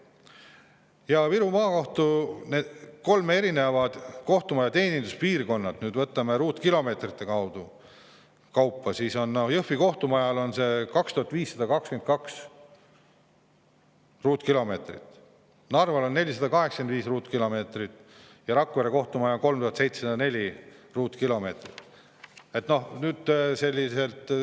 Ja kui võtta Viru Maakohtu kolme kohtumaja teeninduspiirkonnad ruutkilomeetrite kaupa, siis Jõhvi kohtumajal on see 2522 ruutkilomeetrit, Narval on 485 ruutkilomeetrit ja Rakvere kohtumajal 3704 ruutkilomeetrit.